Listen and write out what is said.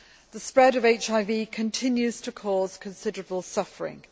The spread of HIV continues to cause considerable suffering.